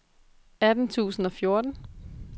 atten tusind og fjorten